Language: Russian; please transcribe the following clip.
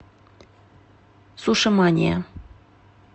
суши мания